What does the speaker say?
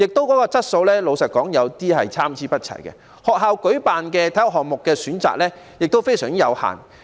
老實說，訓練質素也是參差不齊的，而學校舉辦的體育項目選擇亦非常有限。